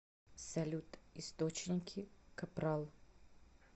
салют источники капрал